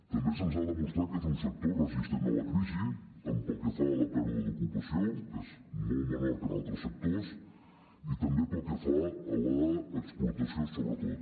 també se’ns ha demostrat que és un sector resistent a la crisi tant pel que fa a la pèrdua d’ocupació que és molt menor que en altres sectors i també pel que fa a l’exportació sobretot